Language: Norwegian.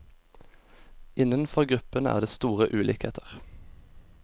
Innenfor gruppene er det store ulikheter.